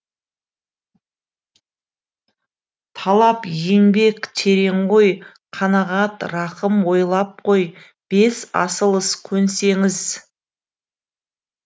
талап еңбек терең ой қанағат рақым ойлап қой бес асыл іс көнсеңіз